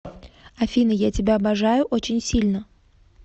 афина я тебя обожаю очень сильно